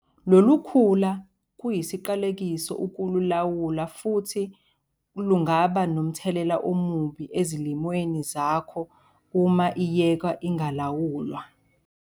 Lolu khula kuyisiqalekiso ukululawula futhi lungaba nomthelela omubi ezilimweni zakho uma iyekwa ingalawulwa.